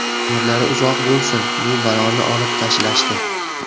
Umrlari uzoq bo‘lsin, bu baloni olib tashlashdi.